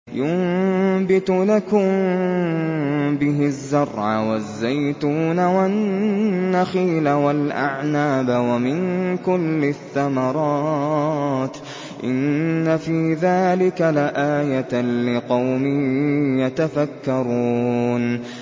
يُنبِتُ لَكُم بِهِ الزَّرْعَ وَالزَّيْتُونَ وَالنَّخِيلَ وَالْأَعْنَابَ وَمِن كُلِّ الثَّمَرَاتِ ۗ إِنَّ فِي ذَٰلِكَ لَآيَةً لِّقَوْمٍ يَتَفَكَّرُونَ